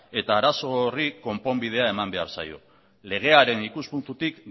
eta arazo horri konponbidea eman behar zaio legearen ikuspuntutik